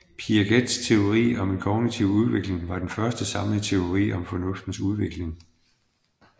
Piagets teori om kognitiv udvikling var den første samlede teori om fornuftens udvikling